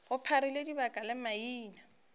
go pharile dika le maina